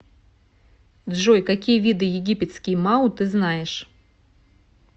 джой какие виды египетский мау ты знаешь